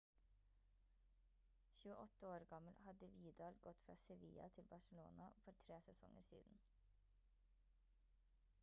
28 år gammel hadde vidal gått fra sevilla til barçelona for tre sesonger siden